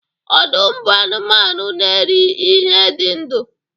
Ọdụm bụ anụmanụ na-eri ihe dị ndụ